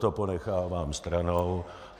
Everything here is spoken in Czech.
To ponechávám stranou.